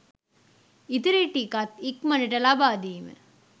ඉතිරි ටිකත් ඉක්මනට ලබා දීම